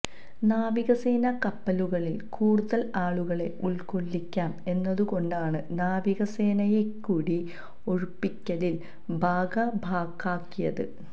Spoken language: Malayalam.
നാവികസേനാ കപ്പലുകളിൽ കൂടുതൽ ആളുകളെ ഉൾക്കൊള്ളിക്കാം എന്നതു കൊണ്ടാണ് നാവികസേനയെക്കൂടി ഒഴിപ്പിക്കലിൽ ഭാഗഭാക്കാക്കിയത്